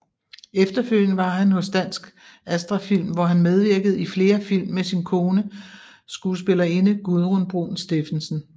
Efterfølgende var han hos Dansk Astra Film hvor han medvirkede i flere film med sin kone skuespillerinde Gudrun Bruun Stephensen